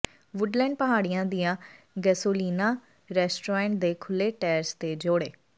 Woodland ਪਹਾੜੀਆਂ ਦੀਆਂ Gasolina restaurant ਦੇ ਖੁੱਲ੍ਹੇ ਟੈਰੇਸ ਤੇ ਜੋੜੇ